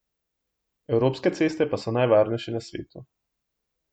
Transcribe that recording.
Evropske ceste pa so najvarnejše na svetu.